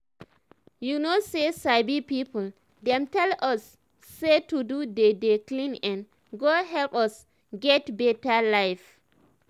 you know say sabi people dem tell us say to dey dey clean[um]go help us get beta life